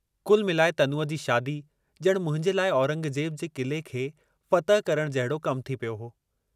कुल मिलाए तनूअ जी शादी ॼणु मुंहिंजे लाइ औरंगजे़ब जे क़िले खे फ़तह करण जहिड़ो कम थी पियो हो।